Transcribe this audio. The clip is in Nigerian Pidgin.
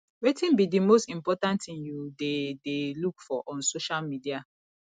wetin be di most important thing you dey dey look for on social media